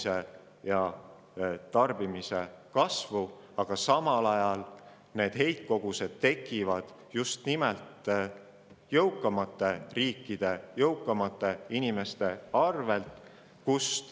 Samal ajal tekivad heitkogused peamiselt just nimelt jõukamates riikides jõukamate inimeste arvelt.